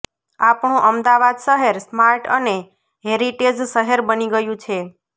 આપણું અમદાવાદ શહેર સ્માર્ટ અને હેરિટેજ શહેર બની ગયું છે